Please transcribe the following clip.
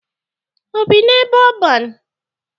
O bi n'ebe ọban?